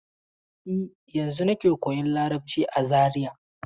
E, yanzun nake koyan Larabci a Zariya.